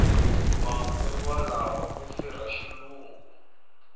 manguva lawa ku firha xilungu